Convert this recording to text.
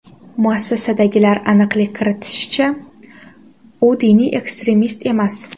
Muassasadagilar aniqlik kiritishicha, u diniy ekstremist emas.